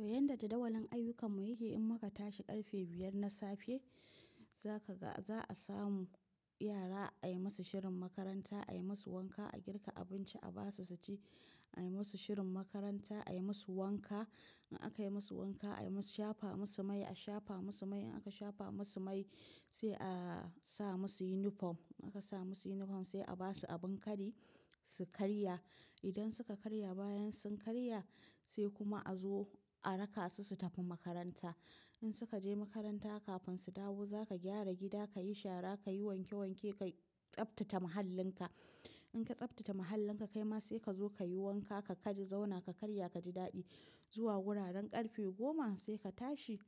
Yanda jadawalin ayyukan mu yake, in muka tashi ƙarfe biyar na safe, za a samu yara a yi musu shirin makaranta, a yi musu wanka, a girka abinci, a ba su sati, a yi musu shirin makaranta, a yi musu wanka. In aka yi musu wanka, a shafa musu mai, aka shafa musu mai, sai a sa musu yunifom. A ka sa musu yunifom sai a ba su abin kari su karya. Idan suka karya, bayan sun karya sai kuma a zo a raka su su tafi makaranta. In suka je makaranta kafin su dawo, za ka gyara gida, ka yi shara, ka yi wanke wanke, ka tsaftace mahallinka. In ka tsaftace mahallinka kai ma sai ka zo ka yi wanka, ka kari zauna ka karya ka ji daɗi. Zuwa wuraren ƙarfe goma sai ka tashi,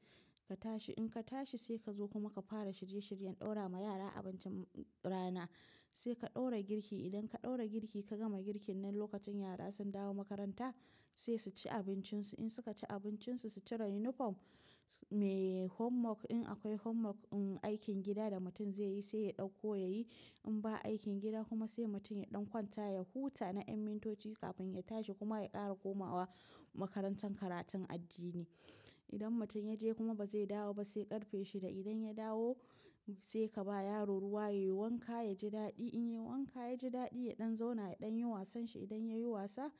ka tashi. In ka tashi sai ka zo kuma ka fara shirye shiryen ɗaura ma yara abincin rana. Sai ka ɗaura girki. Idan ka ɗaura girki ka gama girkin nan lokacin yara sun dawo makaranta sai su ci abincinsu. In suka ci abincinsu su cire yunifom, homework in akwai homework aikin gida da mutum zai yi sai ya ɗauko ya yi. In ba aikin gida kuma sai mutum ya ɗan kwanta, ya huta na ƴan mintoci kafin ya tashi kuma ya ƙara komawa makarantar karatun addini. Idan mutum ya je kuma ba zai dawo ba sai karfe shida idan ya dawo sai ka ba yaro ruwa ya yi wanka ya ji daɗi. In ya yi wanka ya ji daɗi ya ɗan zauna ya ɗan yi wasan shi. Idan ya yi wasa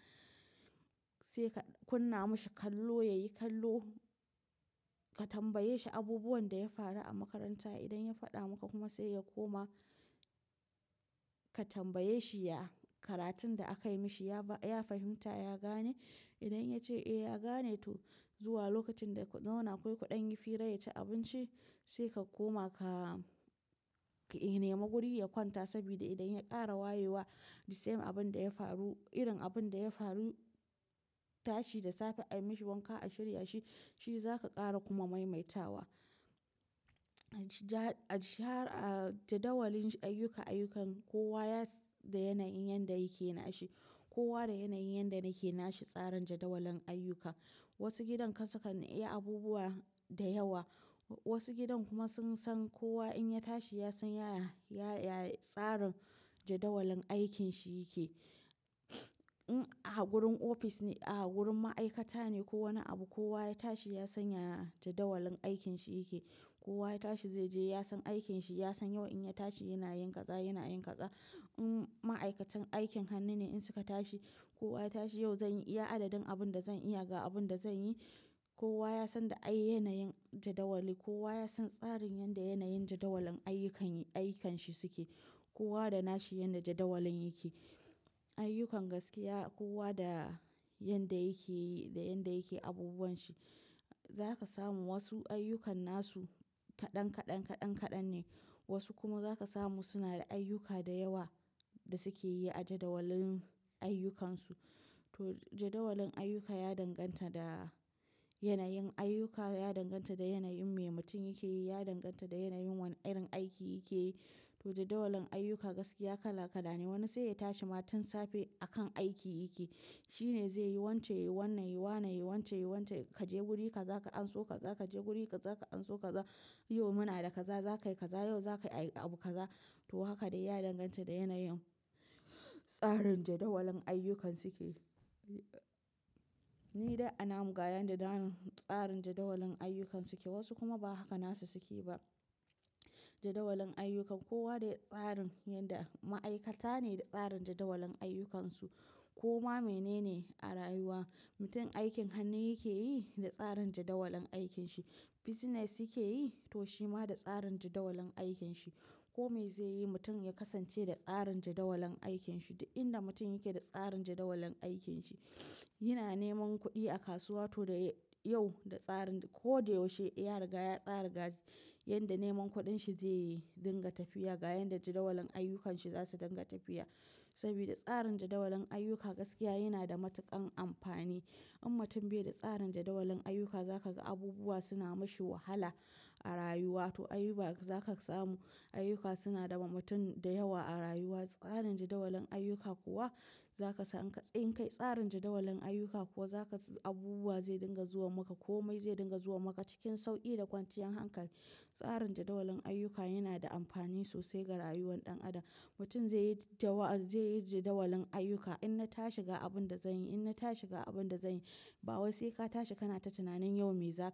sai ka kunna mashi kallo, ya yi kallo. Ka tambaye shi abubuwan da ya faru a makaranta. Idan ya faɗa maka kuma sai ya koma ka tambaye shi, ya karatun da aka yi mashi ya fahimta, ya gane? Idan ya ce eh ya gane to zuwa lokacin da ya zauna akwai kuɗin yi fira yaci abinci sai ka koma ka nema guri ya kwanta. Saboda idan ya ƙara wayewa, the same abin da ya faru, irin abin da ya faru tashi da safe ayi mishi wanka a shirya shi shi zaka ƙara kuma maimaita wa. Jadawalin ayyuka, ayyukan kowa da yanayin yanda yake na shi. Kowa da yanayin yanda nake na shi tsarin jadawalin ayyuka. Wasu gidan kasakan iya abubuwa da yawa. Wasu gidan kuma sun san kowa in ya tashi ya san ya tsarin jadawalin aikin shi yake. A gurin ofis ne, a gurin ma'aikata ne ko wani abu kowa ya tashi ya san ya jadawalin aikin shi yake. Kowa ya tashi zai je ya san aikin shi, ya san yau in ya tashi yana yin kaza, yana yin kaza. Ma'aikatan aikin hannu ne in suka tashi, kowa ya tashi yau zan iya adadin abin da zan iya ga abin da zan yi. Kowa ya san da ayyayan yanayin jadawali. Kowa ya san tsarin yadda yanayin jadawalin ayyukan, ayyukan shi suke. Kowa da nashi yanda jadawalin yake. Ayyukan gaskiya kowa da yanda yake yi da yanda yake abubuwan shi. Za ka samu wasu ayyukan nasu kaɗan kaɗan kaɗan kaɗan ne, wasu kuma za ka samu suna da ayyuka da yawa da suke yi a jadawalin ayyukansu. To jadawalin ayyuka ya danganta da yanayin ayyuka, ya danganta da yanayin me mutum yake yi, ya danganta da yanayin wane irin aiki yake yi. To jadawalin ayyuka gaskiya kala kala ne. Wani sai ya tashi ma tun safe akan aiki yake. Shi ne zai yi wance, yi wannan, yi wannan, yi wance, yi wance. Ka je guri ka za ka anso ka za ka je guri ka za ka anso ka za. Yau muna da kaza, za ka yi kaza yau, za ka yi abu kaza. To haka dai ya danganta da yanayin tsarin jadawalin ayyukan suke. Ni dai ana mun ga yanda tsarin jadawalin ayyukan suke wasu kuma ba haka nasu suke ba. Jadawalin ayyuka kowa da tsarin yanda ma'aikata ne da tsarin jadawalin ayyukansu. Koma mene ne a rayuwa. Mutum aikin hannu yake yi da tsarin jadawalin aikin shi. Business yake yi to shi ma da tsarin jadawalin aikin shi. Komai zai yi mutum ya kasance da tsarin jadawalin aikin shi. Duk inda mutum yake da tsarin jadawalin aikin shi, yana neman kuɗi a kasuwa to da yau da tsarin ko da yaushe ya riga ya tsara ga yanda neman kuɗin shi zai yi dinga tafiya. Ga yanda jadawalin ayyukanshi za su dinga tafiya. Saboda tsarin jadawalin ayyuka gaskiya yana da matuƙan amfani. In mutum bai da tsarin jadawalin ayyuka za ka ga abubuwa suna mashi wahala a rayuwa. To ayyuka za ka samu ayyuka suna da mutum da yawa a rayuwa. Tsarin jadawalin ayyuka kuwa za ka san in kai tsarin jadawalin ayyuka kuwa za ka abubuwa zai dinga zuwa maka. Komai zai dinga zuwa maka cikin sauƙi da kwanciyar hankali. Tsarin jadawalin ayyuka yana da amfani sosai ga rayuwar ɗan adam. Mutum zai yi jadawalin ayyuka. In na tashi ga abin da zan yi, in na tashi ga abin da zan yi. Ba wasai ka tashi kana ta tunanin yau me zaka yi.